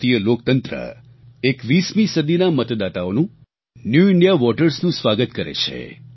ભારતીય લોકતંત્ર 21મી સદીના મતદાતાઓનું ન્યૂ ઇન્ડિયા votersનું સ્વાગત કરે છે